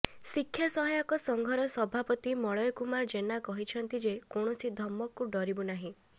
ଶିକ୍ଷା ସହାୟକ ସଂଘର ସଭାପତି ମଳୟ କୁମାର ଜେନା କହିଛନ୍ତି ଯେ କୌଣସି ଧମକକୁ ଡରିବୁ ନାହିଁ